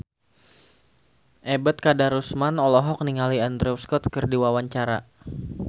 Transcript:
Ebet Kadarusman olohok ningali Andrew Scott keur diwawancara